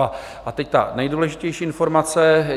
A teď ta nejdůležitější informace.